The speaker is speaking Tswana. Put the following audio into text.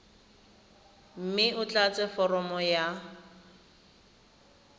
mme o tlatse foromo ya